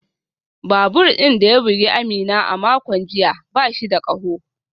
Babur din da ya bugi Amina a makon jiya ba shi da kaho